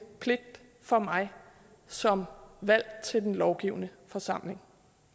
pligt for mig som valgt til den lovgivende forsamling